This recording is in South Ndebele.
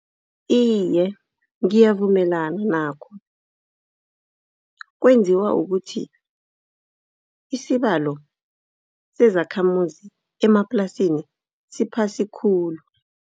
Iye, ngiyavumelana nakho. Kwenziwa kukuthi isibalo sezakhamuzi emaplasini siphasi khulu.